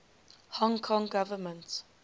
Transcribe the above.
hong kong government